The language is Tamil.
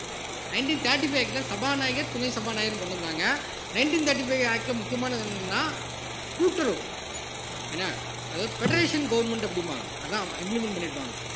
nineteen thirty five ல சபாநாயகர் துணை சபாநாயகர்ன்னு கொண்டு வந்தாங்க nineteen thirty-five act ல முக்கியமானது என்னன்னா கூட்டுறவு என்ன அதாவது federation government அப்படிம்பாங்க அதான் implement பண்ணியிருப்பாங்க